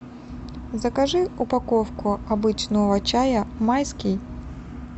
закажи упаковку обычного чая майский